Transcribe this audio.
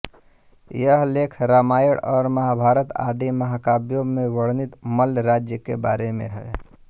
यह लेख रामायण और महाभारत आदि महाकाव्यों में वर्णित मल्ल राज्य के बारे में है